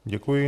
Děkuji.